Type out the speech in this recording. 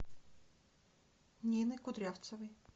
нины кудрявцевой